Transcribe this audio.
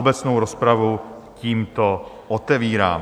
Obecnou rozpravu tímto otevírám.